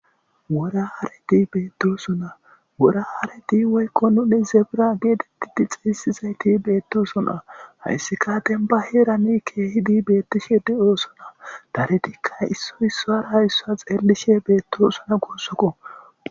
wora hareti bettosona woyikko nuni zebera getetidi xesetidayisati betesona hayisati demibba herani kehidi betishe deyosona daridi issoyi isuwaha xelishe desona